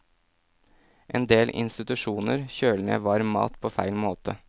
Endel institusjoner kjøler ned varm mat på feil måte.